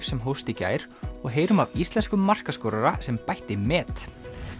sem hófst í gær og heyrum af íslenskum markaskorara sem bætti met